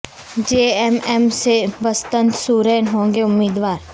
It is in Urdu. جے ایم ایم سے بسنت سورین ہوں گے امیدوار